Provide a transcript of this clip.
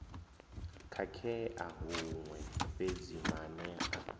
khakhea huṅwe fhedzi maanea a